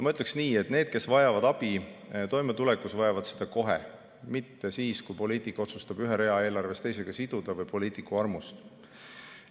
Ma ütleksin nii, et need, kes vajavad abi toimetulekuks, vajavad seda kohe, mitte siis, kui poliitik otsustab ühe rea eelarves teisega siduda, mitte poliitiku armust.